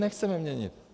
Nechceme měnit.